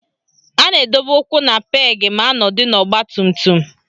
A na-edobe ụkwụ na peegị ma anọdụ n'ọgbatumtum